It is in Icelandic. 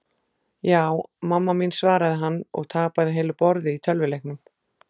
Ja, mamma mín svaraði hann og tapaði heilu borði í tölvuleiknum.